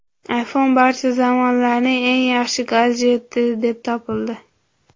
iPhone barcha zamonlarning eng yaxshi gadjeti deb topildi.